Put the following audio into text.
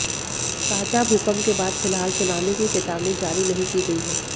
ताजा भूकंप के बाद फिलहाल सुनामी की चेतावनी जारी नहीं की गई है